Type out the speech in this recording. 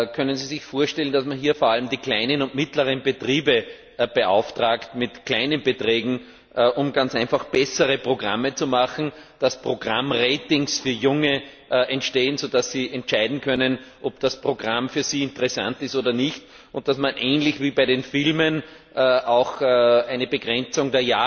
Können Sie sich vorstellen, dass man hier vor allem die kleinen und mittleren Betriebe mit kleinen Beträgen beauftragt, um ganz einfach bessere Programme zu machen, dass Programm Ratings für junge Menschen entstehen, so dass diese entscheiden können, ob das Programm für sie interessant ist oder nicht, und dass man ähnlich wie bei den Filmen auch eine Altersbegrenzung